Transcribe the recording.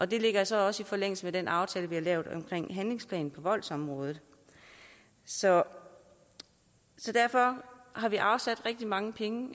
det ligger så også i forlængelse af den aftale vi har lavet om handlingsplaner på voldsområdet så så derfor har vi afsat rigtig mange penge